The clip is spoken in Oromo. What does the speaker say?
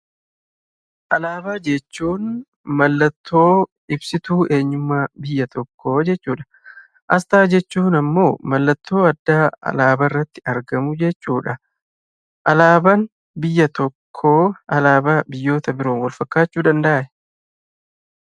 Alaabaa jechuun; maallattoo ibsituu eenyummaa biyya tokko jechuudha. Asxaa jechuun ammoo, maallattoo addaa alaabaa irraatti argamuu jechuudha. Alaabaan biyya tokkoo alaabaa biyyoota biroo Wal fakkachuu danda'aa?